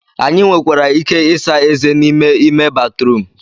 Anyị nwekwara ike ịsa ezé n'ime ime batrum